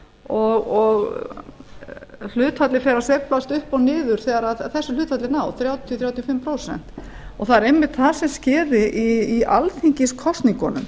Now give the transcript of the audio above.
og hlutfallið fer að sveiflast upp og niður þegar þessu hlutfalli er náð þrjátíu til þrjátíu og fimm prósent það er einmitt það sem skyni í alþingiskosningunum